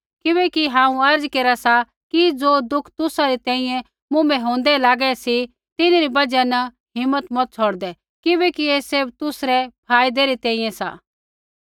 किबैकि हांऊँ अर्ज़ केरा सा कि ज़ो दुःख तुसा री तैंईंयैं मुँभै होंदै लागे सी तिन्हरी बजहा न हिम्मत मता छ़ौड़दै किबैकि ऐ सैभ तुसरै फायदै री तैंईंयैं सा